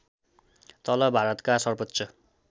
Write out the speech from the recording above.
तलब भारतका सर्वोच्च